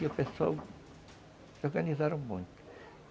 E o pessoal se organizaram muito.